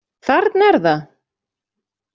Þarna er það!